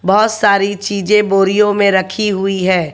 बहोत सारी चीजे बोरियो मे रखी हुई है।